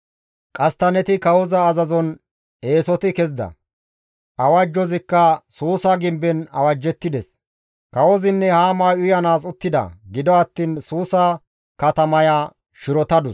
Qasttanneti kawoza azazon eesoti kezida; awajjazikka Suusa gimben awajettides; kawozinne Haamay uyanaas uttida; gido attiin Suusa katamaya shirotadus.